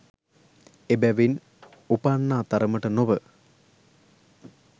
එබැවින් උපන්නා තරමට නොව,